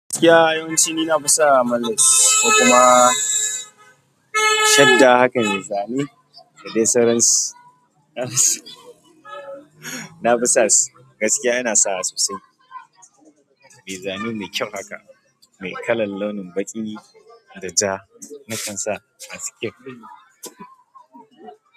Gaskiya yawanci ni na fi sa menlace ko kuma shadda haka mai zane da dai sauransu na fi sa su gaskiya ina sawa sosai. Mai zane mai kyau haka, mai kalan launin baƙi da ja na kan sa masu kyau.